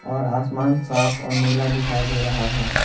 और आसमान साफ और नीला दिखाई दे रहा है।